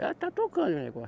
Ela está tocando o negócio.